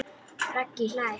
Raggi hlær.